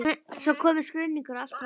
Svo komu skruðningar og allt varð hljótt.